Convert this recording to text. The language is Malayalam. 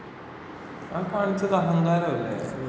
ആ കാണിച്ചത് അഹങ്കാരം അല്ലേ...